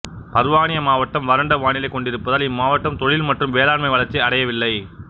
பர்வானி மாவட்டம் வறண்ட வானிலை கொண்டிருப்பதால் இம்மாவட்டம் தொழில் மற்றும் வேளாண்மை வளர்ச்சி அடையவில்லை